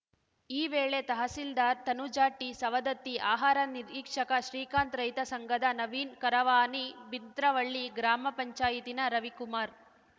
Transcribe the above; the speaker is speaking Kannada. ಈ ವೇಳೆ ತಹಸಿಲ್ದಾರ್‌ ತನುಜ ಟಿ ಸವದತ್ತಿ ಆಹಾರ ನಿರೀಕ್ಷಕ ಶ್ರೀಕಾಂತ್‌ ರೈತ ಸಂಘದ ನವೀನ್‌ ಕರವಾನಿ ಬಿಂತ್ರವಳ್ಳಿ ಗ್ರಾಮ ಪಂಚಾಯತಿನ ರವಿಕುಮಾರ್‌